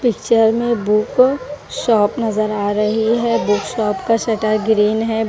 Picture में book shop नजर आ रही है बुक शॉप का शटर ग्रीन है।